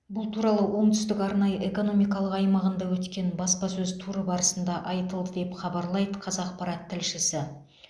бұл туралы оңтүстік арнайы экономикалық аймағында өткен баспасөз туры барысында айтылды деп хабарлайды қазақпарат тілшісі